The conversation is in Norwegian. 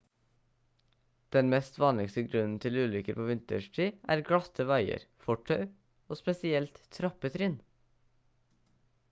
den mest vanligste grunnen til ulykker på vinterstid er glatte veier fortau og spesielt trappetrinn